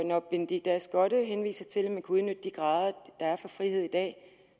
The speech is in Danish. når benedikte ask skotte henviser til at man kunne udnytte de grader der er for frihed i dag